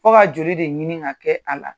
Fo ka joli de ɲini ka kɛ a la.